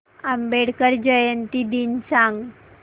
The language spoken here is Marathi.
आंबेडकर जयंती दिन सांग